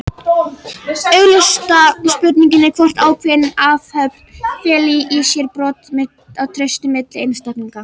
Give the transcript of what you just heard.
Augljósasta spurningin er hvort ákveðin athöfn feli í sér brot á trausti milli einstaklinga.